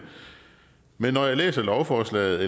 men når jeg læser lovforslaget